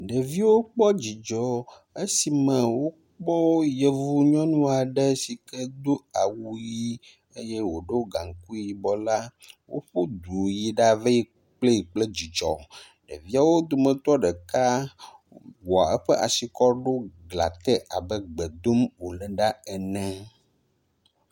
Ɖeviwo kpɔ dzidzɔ esime wokpɔ yevu nyɔnua ɖe si ke do awu ʋi eye wòɖo gaŋkui yibɔ la. Woƒu du yi dave kplee kple dzidzɔ. Ɖeviwo dometɔ ɖeka wɔ eƒa si kɔ ɖo glã te abe gbe dom wòle la ene.